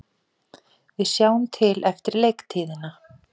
Við sjáum til eftir leiktíðina,